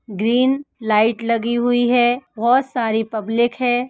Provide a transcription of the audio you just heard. Green light लगी हुई है। बोहोत सारी पब्लिक है।